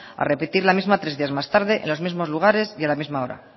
a repetir la misma tres días más tarde en los mismos lugares y a la misma hora